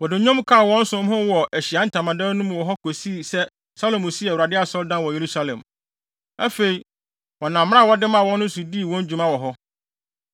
Wɔde nnwom kaa wɔn som ho wɔ Ahyiae Ntamadan no mu hɔ kosii sɛ Salomo sii Awurade asɔredan no wɔ Yerusalem. Afei, wɔnam mmara a wɔde maa wɔn so dii wɔn dwuma wɔ hɔ.